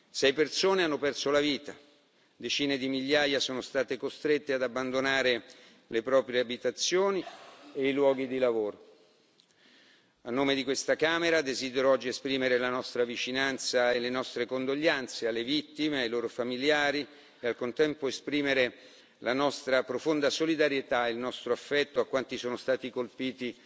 Sei persone hanno perso la vita, decine di migliaia sono state costrette ad abbandonare le proprie abitazioni e i luoghi di lavoro. A nome di questa Camera desidero oggi esprimere la nostra vicinanza e le nostre condoglianze alle vittime e ai loro familiari e, al contempo, esprimere la nostra profonda solidarietà e il nostro affetto a quanti sono stati colpiti